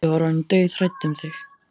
Ég var orðin dauðhrædd um þig,